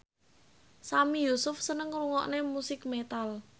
Sami Yusuf seneng ngrungokne musik metal